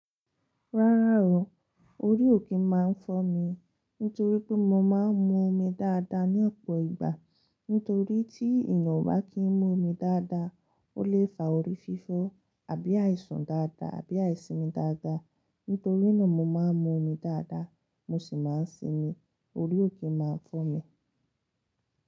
Rárá o, orí ò kí máa ń fọ́ mi. Nítorí pé mo máa ń mu omi dáadáa ní ọ̀pọ̀ ìgbà. Nítorí tí èèyàn o bá kì ń mu omi dáadáa, ó lè fa orí fífọ́ àbí àìsàn dáadáa àbí àìsimi dáadáa. Nítorí náà mo máa ń mu omi dáadáa, mo sì máa ń sinmi, orí ò kí máa ń fọ́ mi.